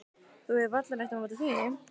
Þú hefur varla neitt á móti því?